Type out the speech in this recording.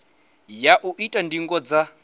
ya u ita ndingo dza